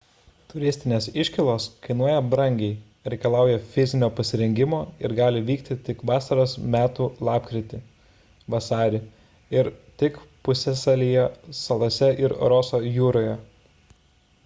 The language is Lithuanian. turistinės iškylos kainuoja brangiai reikalauja fizinio pasirengimo ir gali vykti tik vasaros metu lapkritį–vasarį ir tik pusiasalyje salose ir roso jūroje